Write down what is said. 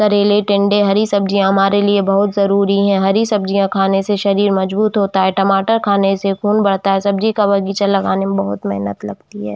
करेले टिंडे हरी सब्जियाँ हमारे लिए बहुत जरूरी है। हरी सब्जियाँ खाने से शरीर मजबूत होता है टमाटर खाने से खून बढ़ता है सब्जी का बगीचा लगाने में बहुत मेहनत लगती है।